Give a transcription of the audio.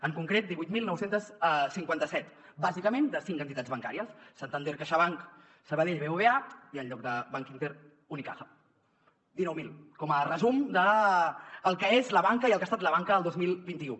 en concret divuit mil nou cents i cinquanta set bàsicament de cinc entitats bancàries santander caixabank sabadell bbva i en lloc de bankinter unicaja dinou mil com a resum del que és la banca i el que ha estat la banca el dos mil vint u